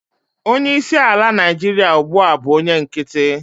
onye isi ala Naijiria ugbua bu onye nkiti